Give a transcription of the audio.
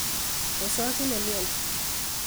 Osochin nemioni